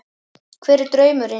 Hver er draumurinn?